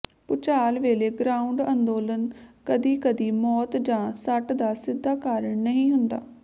ਭੁਚਾਲ ਵੇਲੇ ਗਰਾਉਂਡ ਅੰਦੋਲਨ ਕਦੀ ਕਦੀ ਮੌਤ ਜਾਂ ਸੱਟ ਦਾ ਸਿੱਧਾ ਕਾਰਨ ਨਹੀਂ ਹੁੰਦਾ